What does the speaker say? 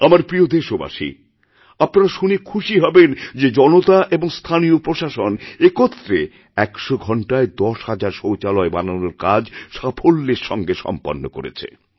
আমার প্রিয় দেশবাসী আপনারা শুনে খুশি হবেন যেজনতা এবং স্থানীয় প্রশাসন একত্রে ১০০ ঘণ্টায় দশ হাজার শৌচালয় বানানোর কাজ সাফল্যেরসঙ্গে সম্পন্ন করেছে